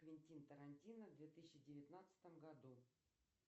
квентин тарантино в две тысячи девятнадцатом году